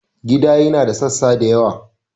Gida yana da sassa da yawa.